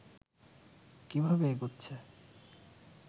কিভাবে এগুচ্ছে